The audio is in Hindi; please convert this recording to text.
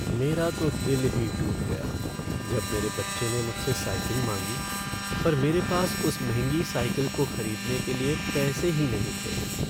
मेरा तो दिल ही टूट गया जब मेरे बच्चे ने मुझसे साइकिल मांगी पर मेरे पास उस महंगी साइकिल को खरीदने के लिए पैसे ही नहीं थे।